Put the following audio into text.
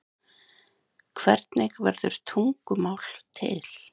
Hvernig verður tungumál til?